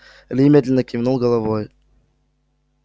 ли медленно кивнул головой